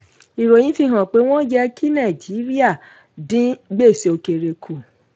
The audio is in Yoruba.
ìròyìn fi hàn pé wọ́n yẹ kí nàìjíríà dín gbèsè òkèrè kù.